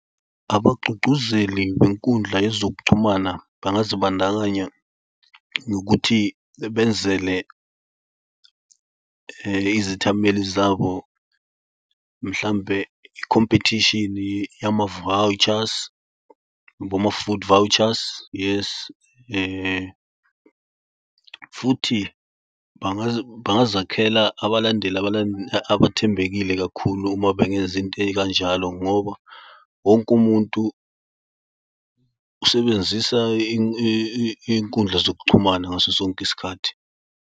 Abagqugquzeli benkundla yezokuxhumana bengazi bandakanya nokuthi benzele izethameli zabo mhlawumbe i-competition yama-vouchers boma-food vouchers yes. Futhi bangazakhela abalandeli abathembekile kakhulu uma bengeza into ey'kanjalo ngoba wonke umuntu usebenzisa iy'nkundla zokuxhumana ngaso sonke isikhathi.